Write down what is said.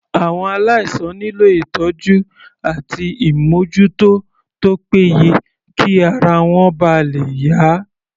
Àwọn aláìsàn nílò ìtọ́jú àti ìmójútó tó pé ye kí ara wọn ba lè yá.